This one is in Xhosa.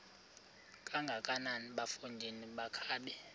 kangakanana bafondini makabe